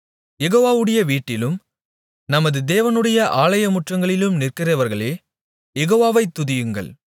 யெகோவாவுடைய வீட்டிலும் நமது தேவனுடைய ஆலயமுற்றங்களிலும் நிற்கிறவர்களே யெகோவாவை துதியுங்கள்